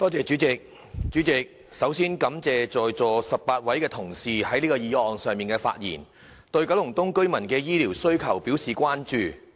主席，首先我感謝在席18位同事就這項議案發言，對九龍東居民的醫療服務需求表示關注。